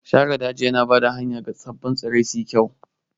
Shara daji tana ba da hanya ga sabbin tsirrai suyi kyau.